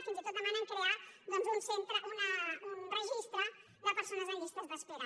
fins i tot demanen crear doncs un registre de persones en llistes d’espera